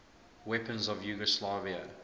weapons of yugoslavia